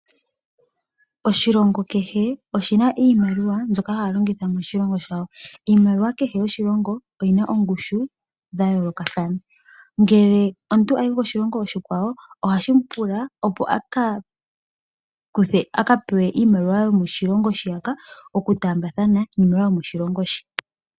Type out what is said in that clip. Oshilongo kehe oshina iimaliwa mbyoka haya longitha moshilongo shawo. Iimaliwa kehe yoshilongo oyina oongushu dha yoolokathana. Ngele omuntu ayi koshilongo oshikwawo ohashi mu pula, opo a ka kuthe nenge a pewa iimaliwa yomoshilongo shoka oku taamba thana niimaliwa yomoshilongo she.